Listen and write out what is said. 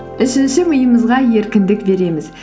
үшінші миымызға еркіндік береміз